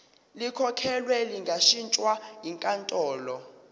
likhokhelwe lingashintshwa yinkantolo